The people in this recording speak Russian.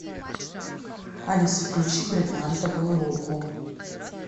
алиса включи бриллиантовую руку